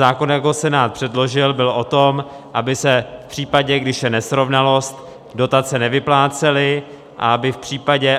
Zákon, jak ho Senát předložil, byl o tom, aby se v případě, když je nesrovnalost, dotace nevyplácely a